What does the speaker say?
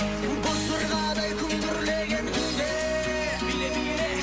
боз жорғадай күмбірлеген күйге биле биле